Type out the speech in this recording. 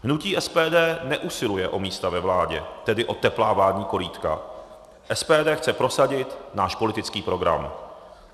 Hnutí SPD neusiluje o místa ve vládě, tedy o teplá vládní korýtka, SPD chce prosadit náš politický program.